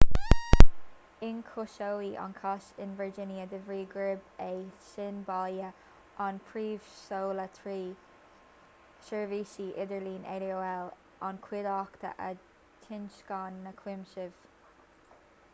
ionchúisíodh an cás in virginia de bhrí gurb é sin baile an phríomhsholáthraí seirbhíse idirlín aol an chuideachta a thionscain na cúisimh